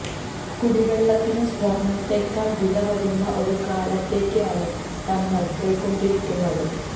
കുടി വെള്ളത്തിന് സ്വര്ണത്തേക്കാള് വില വരുന്ന ഒരു കാലത്തേക്ക് ആണ് നമ്മള് പൊയ്ക്കൊണ്ടിരിക്കുന്നത്